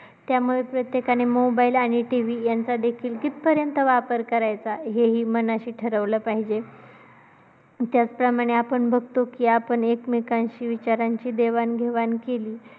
त्यामुळे प्रत्येकाने mobile आणि TV यांचा कितीपर्यंत वापर करायचा हेही मनाशी ठरवलं पाहिजे. मध्ये आपण बघतो की आपण एकमेकांशी विचारांची देवाण-घेवाण केली,